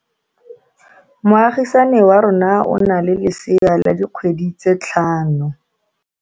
Moagisane wa rona o na le lesea la dikgwedi tse tlhano.